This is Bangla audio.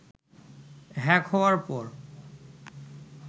হ্যাক হওয়ার পর